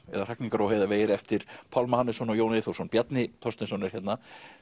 eða hrakningar og heiðavegir eftir Pálma Hannesson og Jón Eyþórsson Bjarni Þorsteinsson er hérna